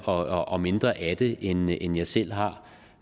og og mindre af det end jeg end jeg selv har